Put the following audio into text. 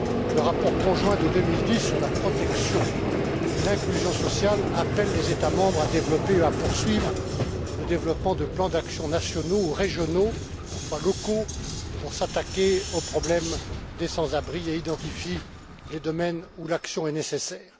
Le rapport conjoint de 2010 sur la protection et l'inclusion sociale appelle les États membres à développer et à poursuivre le développement de plans d'action nationaux ou régionaux, parfois locaux, pour s'attaquer au problème des sans abris et identifie les domaines où l'action est nécessaire.